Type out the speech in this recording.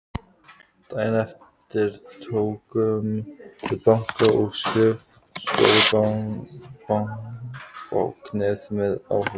Daginn eftir tókum við banka- og skrifstofubáknið með áhlaupi.